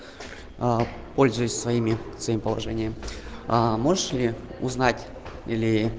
аа пользуясь своими своим положением аа можешь ли узнать или